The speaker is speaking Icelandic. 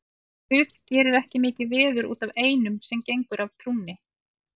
Guð gerir ekki mikið veður út af einum sem gengur af trúnni.